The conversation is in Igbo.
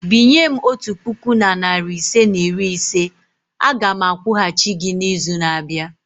Binye m otu puku na narị ise na iri ise a ga m akwụghachi gị n'izu na-abịa.